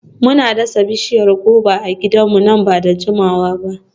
Muna dasa bishiyar goba a gidanmu nan ba da jimawa ba.